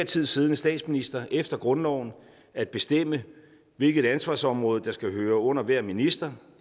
tid siddende statsminister efter grundloven at bestemme hvilket ansvarsområde der skal høre under hver minister